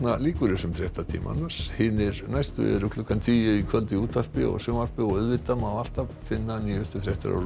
lýkur þessum fréttatíma hinir næstu eru klukkan tíu í kvöld í útvarpi og sjónvarpi auðvitað má alltaf finna nýja fréttir á